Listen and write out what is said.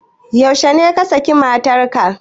Yaushe ne ka saki matar ka?